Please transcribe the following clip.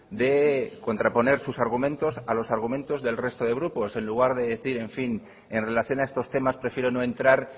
de contraponer sus argumentos a los argumentos del resto de grupos en lugar de decir en fin en relación a estos temas prefiero no entrar